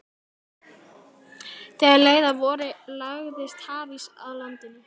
Þegar leið að vori lagðist hafís að landinu.